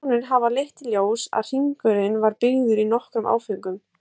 Rannsóknir hafa leitt í ljós að hringurinn var byggður í nokkrum áföngum.